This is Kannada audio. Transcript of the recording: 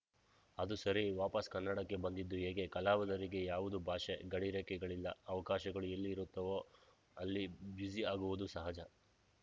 ಅದು ಸರಿ ವಾಪಸ್‌ ಕನ್ನಡಕ್ಕೆ ಬಂದಿದ್ದು ಹೇಗೆ ಕಲಾವಿದರಿಗೆ ಯಾವುದೇ ಭಾಷೆ ಗಡಿ ರೇಖೆಗಳಿಲ್ಲ ಅವಕಾಶಗಳು ಎಲ್ಲಿ ಇರುತ್ತೋ ಅಲ್ಲಿ ಬ್ಯುಸಿ ಆಗುವುದು ಸಹಜ